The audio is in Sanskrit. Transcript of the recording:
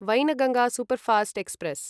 Wainganga superfast express